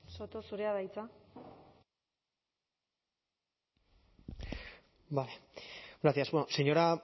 soto zurea da hitza vale gracias bueno señora